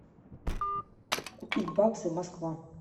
купить баксы москва